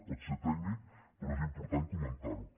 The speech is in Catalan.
pot ser tècnic però és important comentar·ho